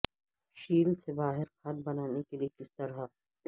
shell سے باہر کھاد بنانے کے لئے کس طرح